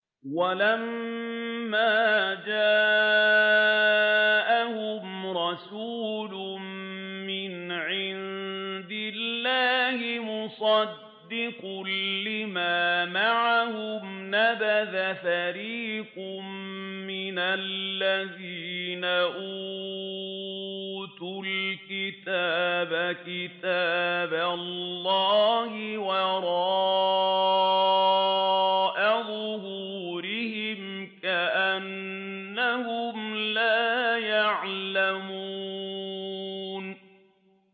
وَلَمَّا جَاءَهُمْ رَسُولٌ مِّنْ عِندِ اللَّهِ مُصَدِّقٌ لِّمَا مَعَهُمْ نَبَذَ فَرِيقٌ مِّنَ الَّذِينَ أُوتُوا الْكِتَابَ كِتَابَ اللَّهِ وَرَاءَ ظُهُورِهِمْ كَأَنَّهُمْ لَا يَعْلَمُونَ